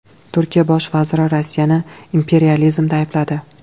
Turkiya bosh vaziri Rossiyani imperializmda aybladi .